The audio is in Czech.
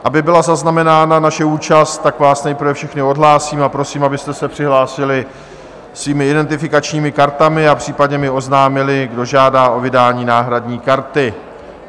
Aby byla zaznamenána naše účast, tak vás nejprve všechny odhlásím a prosím, abyste se přihlásili svými identifikačními kartami a případně mi oznámili, kdo žádá o vydání náhradní karty.